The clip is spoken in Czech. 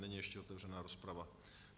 Není ještě otevřena rozprava.